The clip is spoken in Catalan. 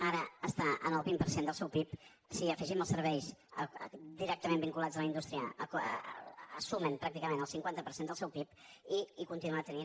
ara està en el vint per cent del seu pib si hi afegim els serveis directament vinculats a la indústria sumen pràcticament el cinquanta per cent del seu pib i continua tenint